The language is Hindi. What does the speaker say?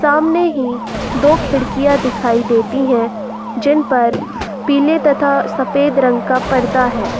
सामने हीं दो खिड़कियां दिखाई देती हैं जिन पर पीले तथा सफेद रंग का पर्दा है।